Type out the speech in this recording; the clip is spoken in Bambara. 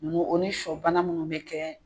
Ninnu o ni sɔ bana minnu bɛ kɛ